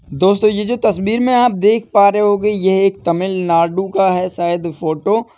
दोस्तों यह जो तस्वीर में आप देख पा रहे होगे यह एक तमिलनाडु का है शायद फोटो --